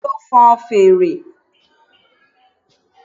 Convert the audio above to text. Yemi lo fon fèrè